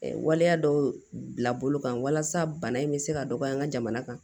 waleya dɔw bila bolo kan walasa bana in bɛ se ka dɔgɔya an ka jamana kan